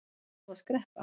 Þarft þú að skreppa?